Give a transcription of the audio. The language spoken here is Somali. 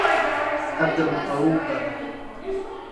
Hadda ma qabowbaa?